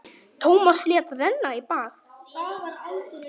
Tómas lét renna í bað.